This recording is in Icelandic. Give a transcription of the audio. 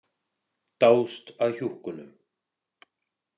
Dáðst að hjúkkunum.